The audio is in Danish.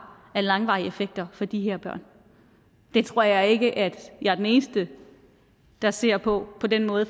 af langvarige effekter for de her børn det tror jeg ikke at jeg er den eneste der ser på på den måde